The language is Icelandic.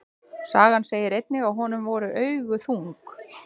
Sagan segir einnig að honum voru augu þung.